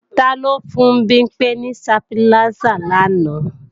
Taló fún Bimpé ní stabiláísà làná?